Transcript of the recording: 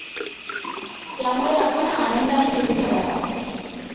त्यामुळे आपण आनंदाने धीर धरावा.